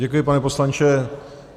Děkuji, pane poslanče.